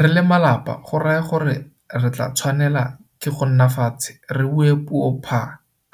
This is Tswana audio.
Re le malapa go raya gore re tla tshwanela ke go nna fatshe re bue puo pha